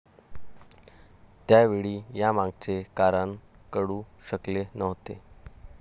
त्यावेळी यामागचे कारण कळू शकले नव्हते.